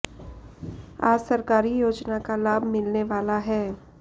आज सरकारी योजना का लाभ मिलने वाला है